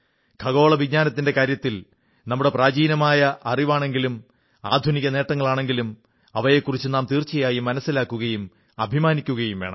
ഖഗോളവിജ്ഞാനത്തിന്റെ കാര്യത്തിൽ നമ്മുടെ പ്രചീനമായ അറിവാണെങ്കിലും ആധുനിക നേട്ടങ്ങളാണെങ്കിലും അവയെക്കുറിച്ച് നാം തീർച്ചയായും മനസ്സിലാക്കുകയും അഭിമാനിക്കുകയും വേണം